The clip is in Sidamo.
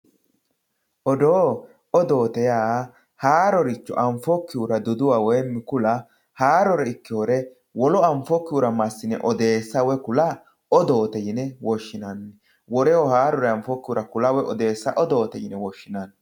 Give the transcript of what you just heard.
Odoo, odoote yaa haaroricho anfokkihura duduwa woyi ku'la haarore ikkinore wole anfokkihura massine odeessa woyi ku'la odoote yine woshshinanni woleho haarore ku'la woyi odeessa odoote yine woshshinanni.